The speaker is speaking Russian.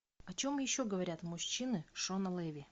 о чем еще говорят мужчины шона леви